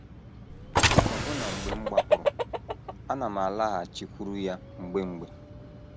“ Ọbụna mgbe m gbapụrụ, ana m alaghachikwuru ya mgbe mgbe. ”